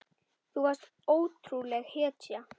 Þú varst ótrúleg hetja.